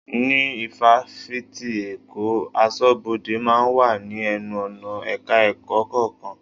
Ní Ifáfìti èkó, aṣọ́bodè máa ń wà ní ẹnu-ọ̀nà Ẹ̀ka-ẹ̀kọ́ kọ̀ọ̀kan.